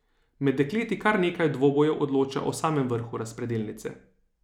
Med dekleti kar nekaj dvobojev odloča o samem vrhu razpredelnice.